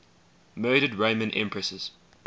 murdered roman empresses